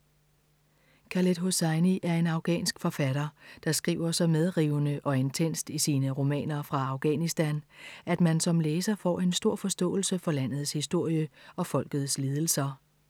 Khaled Hosseini er en afghansk forfatter, der skriver så medrivende og intenst i sine romaner fra Afghanistan, at man som læser får en stor forståelse for landets historie og folkets lidelser.